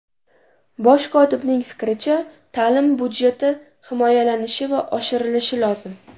Bosh kotibning fikricha, ta’lim budjeti himoyalanishi va oshirilishi lozim.